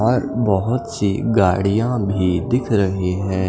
और बोहोत सी गाड़ियाँ भी दिख रही हैं।